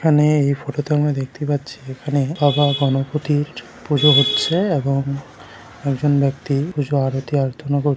এখানে এই ফটো তে আমরা দেখতে পাচ্ছি এখানে বাবা গণপতির পুজো হচ্ছে এবং একজন ব্যক্তি পুজো আরতি আরাধনা কর--